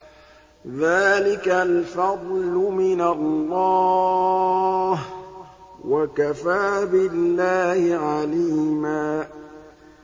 ذَٰلِكَ الْفَضْلُ مِنَ اللَّهِ ۚ وَكَفَىٰ بِاللَّهِ عَلِيمًا